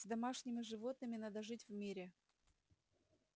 с домашними животными надо жить в мире